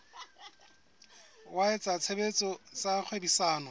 wa etsa tshebetso tsa kgwebisano